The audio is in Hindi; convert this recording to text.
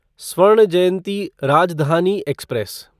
स्वर्ण जयंती राजधानी एक्सप्रेस